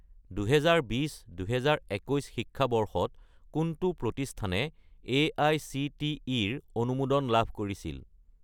2020 - 2021 শিক্ষাবৰ্ষত কোনটো প্ৰতিষ্ঠানে এআইচিটিই-ৰ অনুমোদন লাভ কৰিছিল?